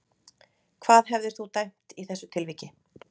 Hvað hefðir þú dæmt í þessu tilviki?